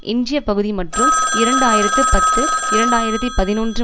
எஞ்சிய பகுதி மற்றும் இரண்டு ஆயிரத்தி பத்து இரண்டு ஆயிரத்தி பதினொன்று